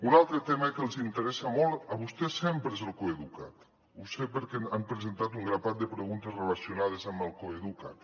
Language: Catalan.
un altre tema que els interessa molt a vostès sempre és el coeduca’t ho sé perquè han presentat un grapat de preguntes relacionades amb el coeduca’t